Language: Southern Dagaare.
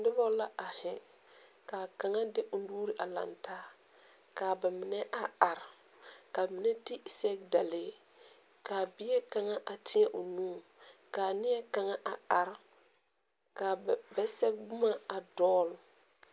Nuba la arẽ ka kanga de ɔ nuuri a langtaa kaa ba mene a arẽ ka mene te segedalee kaa bie kanga a teɛn ɔ nu kaa nie kanga a arẽ ka ba sege buma a doɔle.